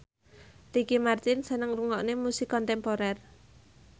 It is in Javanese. Ricky Martin seneng ngrungokne musik kontemporer